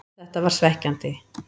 Þetta var svekkjandi,